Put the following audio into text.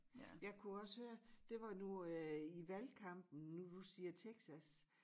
Jeg kunne også høre det var nu øh i valgkampen nu du siger Texas